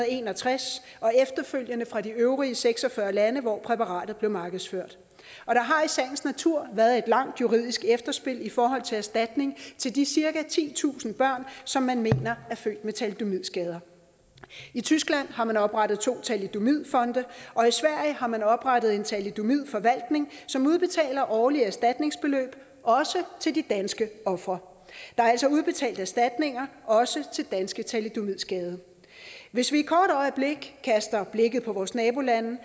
en og tres og efterfølgende fra de øvrige seks og fyrre lande hvor præparatet blev markedsført og der har i sagens natur været et langt juridisk efterspil i forhold til erstatning til de cirka titusind børn som man mener er født med thalidomidskader i tyskland har man oprettet to thalidomidfonde og i sverige har man oprettet en thalidomidforvaltning som udbetaler årlige erstatningsbeløb også til de danske ofre der er altså udbetalt erstatninger også til danske thalidomidskadede hvis vi et kort øjeblik kaster blikket på vores nabolande